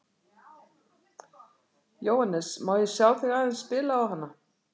Jóhannes: Má ég sjá þig aðeins spila á hana?